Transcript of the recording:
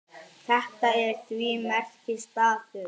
Þetta er því merkur staður.